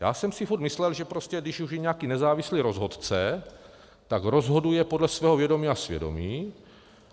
Já jsem si furt myslel, že prostě když už je nějaký nezávislý rozhodce, tak rozhoduje podle svého vědomí a svědomí.